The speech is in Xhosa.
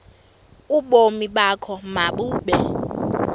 ubomi bakho mabube